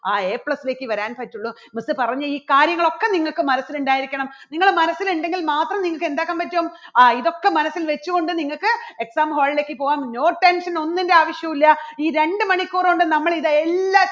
ആ A plus ലേക്ക് വരാൻ പറ്റുള്ളൂ miss പറഞ്ഞ ഈ കാര്യങ്ങളൊക്കെ നിങ്ങൾക്ക് മനസ്സിൽ ഉണ്ടായിരിക്കണം നിങ്ങളുടെ മനസ്സിൽ ഉണ്ടെങ്കിൽ മാത്രം നിങ്ങൾക്ക് എന്താക്കാൻ പറ്റും ആ ഇതൊക്കെ മനസ്സിൽ വച്ചുകൊണ്ട് നിങ്ങൾക്ക് exam hall ലേക്ക് പോകാം no tension ഒന്നിന്റെ ആവശ്യവില്ല ഈ രണ്ട് മണിക്കൂറ് കൊണ്ട് നമ്മൾ ഇതെല്ലാ